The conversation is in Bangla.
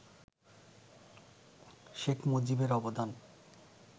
শেখ মুজিবের অবদান